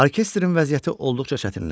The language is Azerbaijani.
Orkestrin vəziyyəti olduqca çətinləşir.